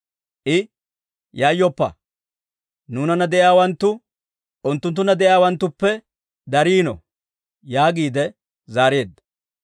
I, «Yayyoppa! Nuunana de'iyaawanttu unttunttunna de'iyaawanttuppe dariino» yaagiide zaareedda.